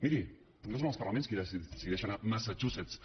miri no són els parlaments qui decideixen a massachusetts